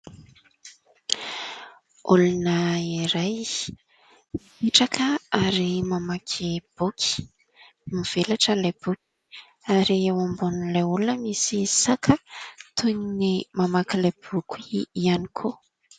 Olona iray mitraka ary mamaky boky, mivelatra ilay boky ary eo ambonin'ilay olona misy saka toy ny mamaky ilay boky ihany koa.